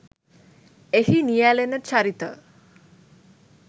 එහි නියැලෙන චරිත